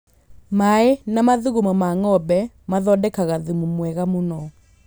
Mai na mathugumo ma ng’ombe mathondekaga thumu mwega mũno.